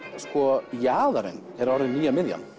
jaðarinn er nýja miðjan